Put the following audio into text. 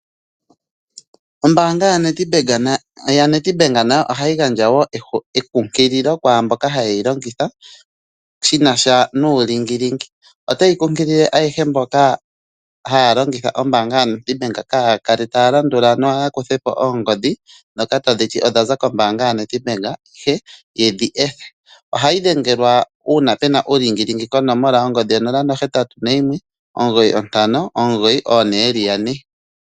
Ombaanga yaNedbank nayo ohayi gandja wo elondodho kwaa mboka haye yi longitha shi na sha nuulingilingi. Otayi londodha ayehe mboka haya longitha ombaanga yaNedbank kaaya kale taya landula nokukutha po oongodhi ndhoka tadhi ti odha za kombaanga yaNedbank ihe ye dhi ethe. Ohayi dhengelwa uuna pe na uulingilingi konomola yo 081 9592222.